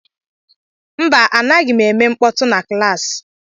Mba, anaghị m eme mkpọtụ na klaasị.